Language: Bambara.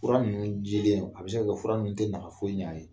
Fura ninnu jilen a bɛ se ka kɛ fura ninnu tɛ nafa foyi ɲɛ a ye